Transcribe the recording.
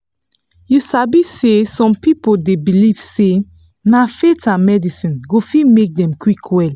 you sabi say some people dey believe say na faith and medicine go fit make dem quick well.